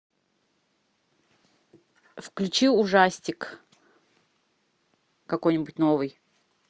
включи ужастик какой нибудь новый